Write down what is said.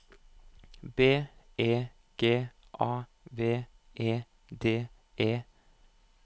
B E G A V E D E